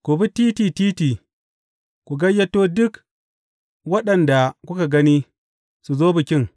Ku bi titi titi ku gayyato duk waɗanda kuka gani, su zo bikin.’